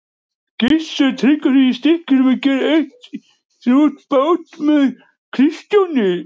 Gissur Tryggvason í Stykkishólmi gerðum eitt sinn út tvo báta með Kristjáni.